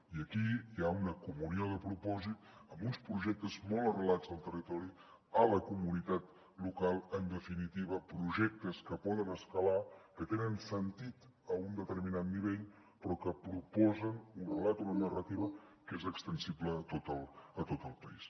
i aquí hi ha una comunió de propòsit amb uns projectes molt arrelats al territori a la comunitat local en definitiva projectes que poden escalar que tenen sentit a un determinat nivell però que proposen un relat una narrativa que és extensible a tot el país